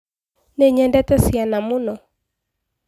Nĩ nyedete ciana mũno.